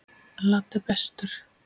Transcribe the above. Laddi er bestur.